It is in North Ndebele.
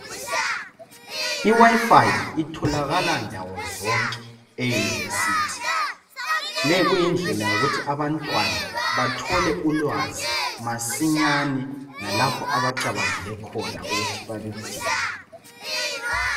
I"WIFI" itholakala ndawo zonke eYunivesi. Leyi kuyindlela yokuthi abantwana bathole ulwazi masinyane lalapho abacabangele khona ukuthi baludinge.